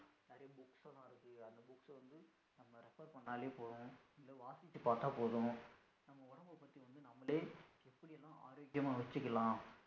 சொன்னாலே போதும் இல்ல வாசிச்சி பாத்தா போதும் நம்ம உடம்ப பத்தி வந்து நம்மலே எப்படி எல்லாம் ஆரோக்கியமா வச்சிகலாம்